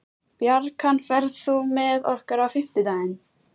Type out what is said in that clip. Bjarkan, ferð þú með okkur á fimmtudaginn?